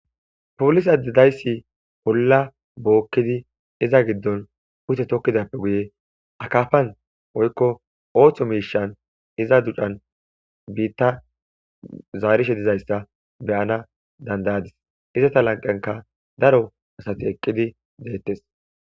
Polisadidayssi polla bookkidi iza giddon ute tokkidappe guye akafan oykko ooththo miishan iza ducan biitta zaarishe dizayssa beyana dandayadis izata lanqenka daro asati eqqidi deettes.